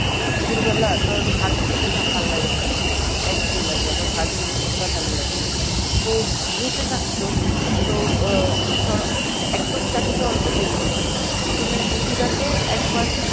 দুপুর বেলা ধর ভাত খেতে না ভাল্লাগে না অনেক সময় একঘেয়ে লাগে আমার ভাত জিনিসটা ভাল্লাগেনা তো রুটি থাকতো তো আহ ধর একদম চাটুতে অল্প তেল দিতাম প্রথমে রুটিটাকে একবার